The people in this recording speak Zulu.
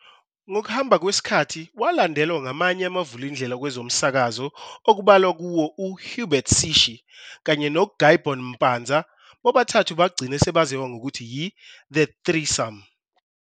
Ngokuhamba kwesikhathi walandelwa ngamanye amavulindela kwezomsakazo okubalwa kuwo oHubert Sishi kanye noGuybon Mpanza-bobathathu bagcina sebaziwa ngokuthi i-"the threesome".